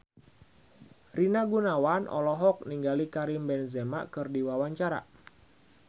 Rina Gunawan olohok ningali Karim Benzema keur diwawancara